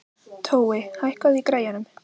Tói, hækkaðu í græjunum.